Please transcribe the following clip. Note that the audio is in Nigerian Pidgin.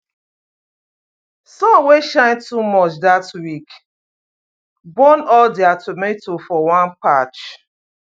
sun wey shine too much that week burn all their tomato for one patch